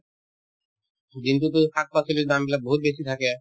দিনতোততো শাক-পাচলি দামবিলাক বহুত বেছি থাকে